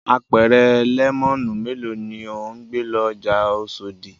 Apẹ̀rẹ̀ lẹ́mọ́nù mélòó ni ò ń gbé lọ ọjà Oṣòdì?